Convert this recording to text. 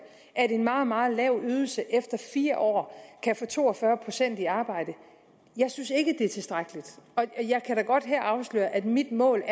at en meget meget lav ydelse efter fire år kan få to og fyrre procent i arbejde jeg synes ikke det er tilstrækkeligt og jeg kan da godt her afsløre at mit mål